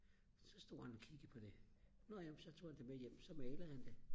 så stod han og kiggede på det nå ja men så tog han det med hjem og så malede han det